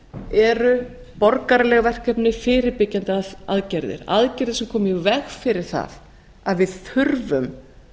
eru borgaraleg verkefni fyrirbyggjandi aðgerðir aðgerðir sem koma í veg fyrir það að við þurfum